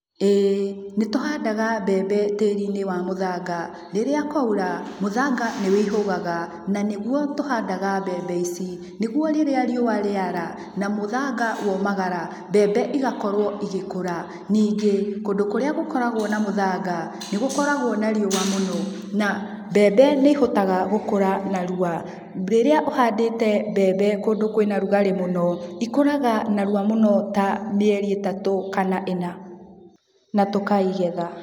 Ĩĩ, nĩ tũhandaga mbembe tĩĩri-inĩ wa mũthanga, rĩrĩa kwaura, mũthanga nĩ wĩihũgaga na nĩguo tũhandaga mbembe ici. Nĩguo rĩrĩa rĩua rĩara ,na mũthanga waũmagara, mbembe igakorwo igĩkũra. Ningĩ kũndũ kũrĩa gũkoragwo na mũthanga, nĩ gũkoragwo na rĩua mũno, na mbembe nĩ ihotaga gũkura narua. Rĩrĩa ũhandĩte mbembe kũndũ kwũna rugarĩ mũno, ikũraga narua mũno ta mĩeri ĩtatũ kana ĩna na tũkaigetha.